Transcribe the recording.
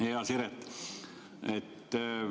Hea Siret!